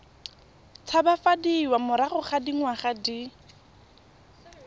tshabafadiwa morago ga dingwaga di